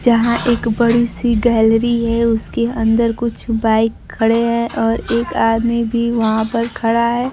यहां एक बड़ी सी गैलरी है उसके अंदर कुछ बाइक खड़े हैं और एक आदमी भी वहां पर खड़ा है।